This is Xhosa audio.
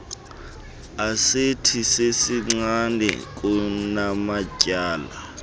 asethi ezincinane kunamatyala